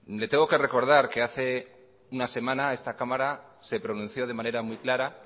le tengo que recordar que hace una semana esta cámara se pronunció de manera muy clara